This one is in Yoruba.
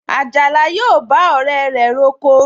Àjàlá yóò bá ọ̀rẹ́ rẹ̀ roko